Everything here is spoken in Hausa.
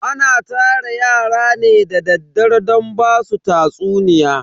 Ana tara yara ne da daddare don basu tatsuniya.